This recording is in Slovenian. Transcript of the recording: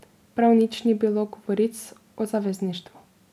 Prav nič ni bilo iz govoric o zavezništvu.